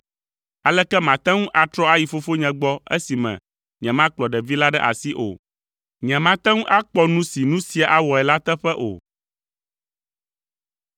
Aleke mate ŋu atrɔ ayi fofonye gbɔ esime nyemakplɔ ɖevi la ɖe asi o? Nyemate ŋu akpɔ nu si nu sia awɔe la teƒe o.”